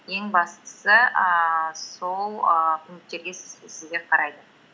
ең бастысы ііі сол ііі пункттерге сізге қарайды